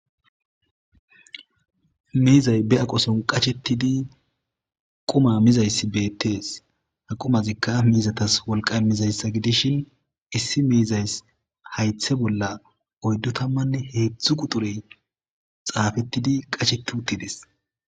Miizay be aqo son qachettidi quma mizayssi beettees. Ha qumazikka miizatas wolqa mizayssa gidishin issi miizaysi haythe bolla oyddo tammanne heeththu quturey xaafettidi qacheti uttides.